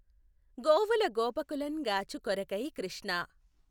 గోవుల గోపకులఁ గాచు కొఱకై కృష్ణా!